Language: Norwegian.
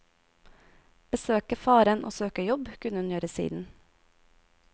Besøke faren og søke jobb kunne hun gjøre siden.